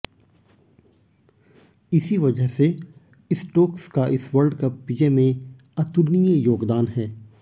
इसी वजह से स्टोक्स का इस वर्ल्डकप विजय में अतुलनीय योगदान है